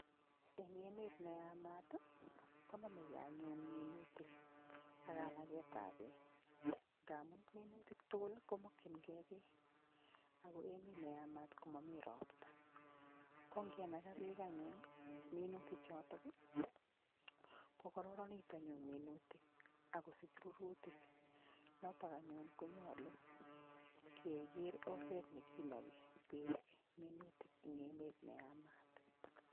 En emet neyamat konomekee anyun minutik akanaketab beek, ngamun minutik tugul komokyingee beek ako emet neyamat komomi ropta kongenakaa beek anyun minutichotok kokororonitu anyun minutik akosich rurutik, notok anyun konyolu keker oret nekinoki beek minutik en emet neyamat.